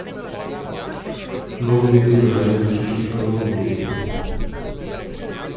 V nogometu ne najdem več užitka v nogometu.